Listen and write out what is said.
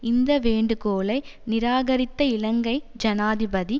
இந்த வேண்டுகோளை நிராகரித்த இலங்கை ஜனாதிபதி